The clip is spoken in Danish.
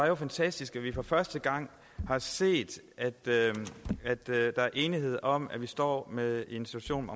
jo fantastisk at vi for første gang har set at der er enighed om at vi står med en situation